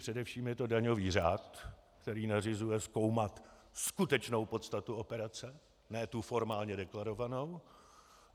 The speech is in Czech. Především je to daňový řád, který nařizuje zkoumat skutečnou podstatu operace, ne tu formálně deklarovanou.